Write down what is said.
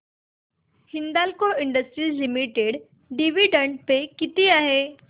Hindalco industries limited dividend pay किती आहे